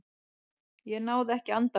Ég náði ekki andanum.